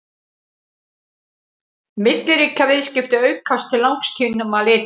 milliríkjaviðskipti aukast til langs tíma litið